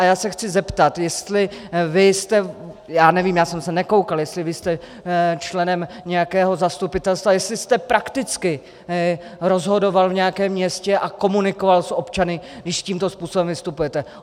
A já se chci zeptat, jestli vy jste - já nevím, já jsem se nekoukal - jestli vy jste členem nějakého zastupitelstva, jestli jste prakticky rozhodoval v nějakém městě a komunikoval s občany, když tímto způsobem vystupujete.